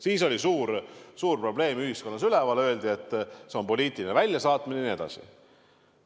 Siis oli suur probleem ühiskonnas üleval: öeldi, et see on poliitiline väljasaatmine jne.